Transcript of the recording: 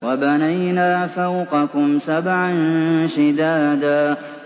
وَبَنَيْنَا فَوْقَكُمْ سَبْعًا شِدَادًا